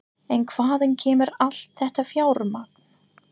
En hvaðan kemur allt þetta fjármagn?